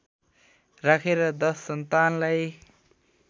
राखेर दश सन्तानलाई